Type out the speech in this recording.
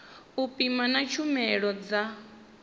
u pima na tshumelo dza